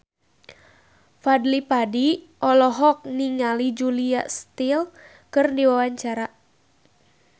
Fadly Padi olohok ningali Julia Stiles keur diwawancara